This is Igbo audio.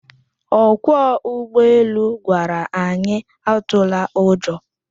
Ọkwọ ụgbọelu gwara anyị atụla ụjọ